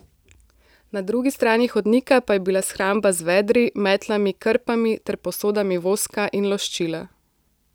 Na drugi strani hodnika pa je bila shramba z vedri, metlami, krpami ter posodami voska in loščila.